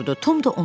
dururdu.